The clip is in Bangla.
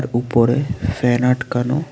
উপরে ফ্যান আটকানো।